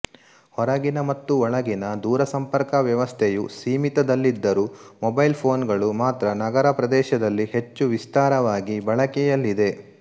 ಹೊರಗಿನ ಮತ್ತು ಒಳಗಿನ ದೂರಸಂಪರ್ಕ ವ್ಯವಸ್ಥೆಯು ಸೀಮಿತದಲ್ಲಿದ್ದರೂ ಮೊಬೈಲ್ ಫೋನ್ ಗಳು ಮಾತ್ರ ನಗರ ಪ್ರದೇಶದಲ್ಲಿ ಹೆಚ್ಚು ವಿಸ್ತಾರವಾಗಿ ಬಳಕೆಯಲ್ಲಿದೆ